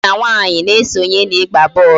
Nwoke na nwaanyị na-esonye n'ịgba bọọlụ